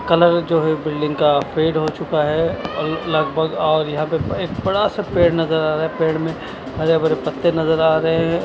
Colour जो है building का फेड हो चूका है और लगभग और यहाँ एक थोडा सा पेड़ नजर आ रहा है पेड़ में हरे भरे पत्ते नजर आ रहे है।